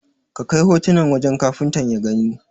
Ka kai hotunan wajen Kafuntan ya gani.